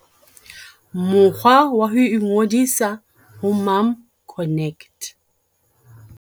Mokgwa wa ho ingodisa ho MomConnect.